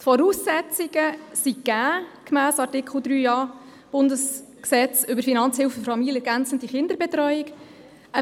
Die Voraussetzungen sind gegeben, gemäss Artikel 3a des Bundesgesetzes über Finanzhilfen für familienergänzende Kinderbetreuung (KBFHG).